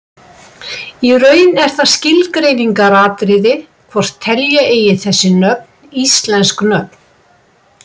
Í raun er það skilgreiningaratriði hvort telja eigi þessi nöfn íslensk nöfn.